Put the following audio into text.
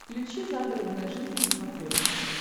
включи загородная жизнь на смотрешке